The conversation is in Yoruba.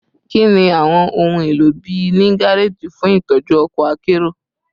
Kini awọn ohun elo bii ni gareji fun itọju ọkọ akero?